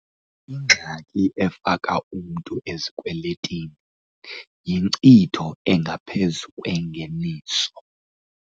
Ingxaki efaka umntu ezikwelitinini yinkcitho engaphezu kwengeniso